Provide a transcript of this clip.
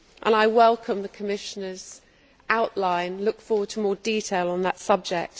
I welcome the Commissioner's outline and look forward to more detail on that subject.